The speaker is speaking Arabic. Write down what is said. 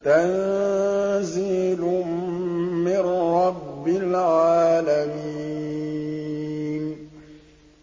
تَنزِيلٌ مِّن رَّبِّ الْعَالَمِينَ